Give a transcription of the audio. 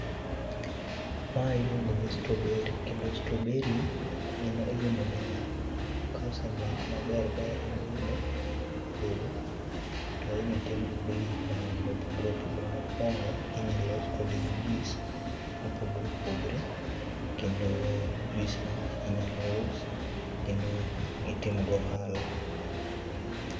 Mae iluongo ni strawberry kendo strawberry en olemo ma kosenyak maber ba igolo e puodho tinyal tim kode gik mangeny mopogore opogore. Mokuongo inyal los kode juice mopogore opogore kendo juice no inyalo us kendo itimo go ohala